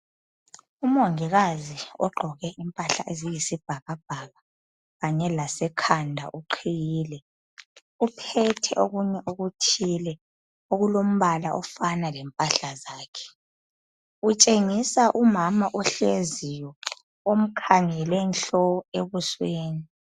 Umongikazi ogqoke impahla eziyisibhakabhaka kanye lasekhanda uqhiyile, uphethe okunye okuthile okulombala ofana lempahla zakhe, utshengisa umama ohleziyo omkhangele nhlo ebusweni.